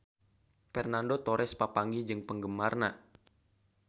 Fernando Torres papanggih jeung penggemarna